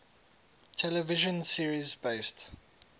television series based